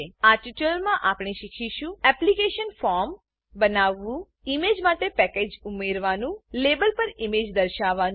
આ ટ્યુટોરીયલમાં આપણે શીખીશું એપ્લિકેશન ફોર્મ એપ્લીકેશન ફોર્મ બનાવવાનું ઈમેજ માટે પેકેજ પેકેજ ઉમેરવાનું લાબેલ લેબલ પર ઈમેજ દર્શાવવાનું